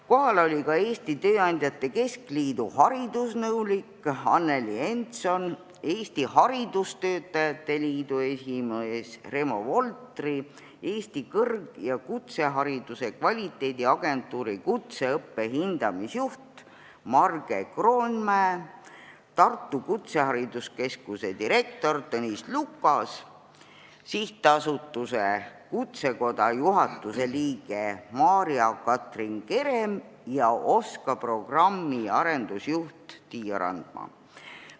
Kohal oli ka Eesti Tööandjate Keskliidu haridusnõunik Anneli Entson, Eesti Haridustöötajate Liidu esimees Reemo Voltri, Eesti Kõrg- ja Kutsehariduse Kvaliteediagentuuri kutseõppe hindamisjuht Marge Kroonmäe, Tartu Kutsehariduskeskuse direktor Tõnis Lukas, SA Kutsekoda juhatuse liige Maarja-Katrin Kerem ja OSKA programmi arendusjuht Tiia Randma.